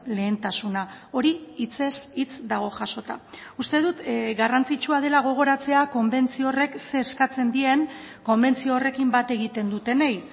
lehentasuna hori hitzez hitz dago jasota uste dut garrantzitsua dela gogoratzea konbentzio horrek zer eskatzen dien konbentzio horrekin bat egiten dutenei